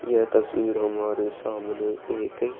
यह तस्वीर हमारे सामने एक --